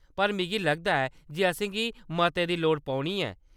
पर मिगी लगदा ऐ जे असेंगी मते दी लोड़ पौनी है।